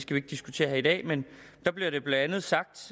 vi ikke diskutere her i dag men der blev det blandt andet sagt